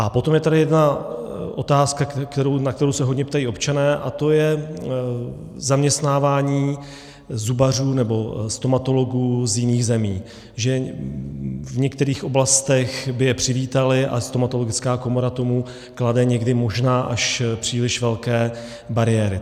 A potom je tady jedna otázka, na kterou se hodně ptají občané, a to je zaměstnávání zubařů nebo stomatologů z jiných zemí, že v některých oblastech by je přivítali, a stomatologická komora tomu klade někdy možná až příliš velké bariéry.